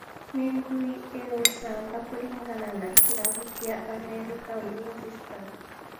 Ni ngui iucamba kuringana na kirabu kia Amerika ulinzi stars